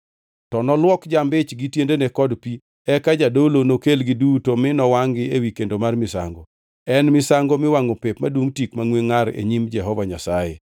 To noluok jamb-ich gi tiendene kod pi, eka jadolo nokelgi duto mi nowangʼ-gi ewi kendo mar misango. En misango miwangʼo pep, madungʼ tik mangʼwe ngʼar e nyim Jehova Nyasaye.